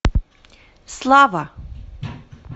слава